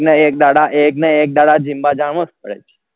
ના એક ન એક દારાન એક ન દારા જમવા જાણું જ પડે